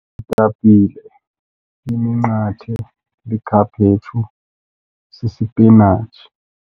Iitapile, iminqathe, likhaphetshu, sisipinatshi.